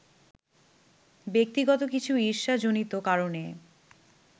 ব্যক্তিগত কিছু ঈর্ষা-জনিত কারণে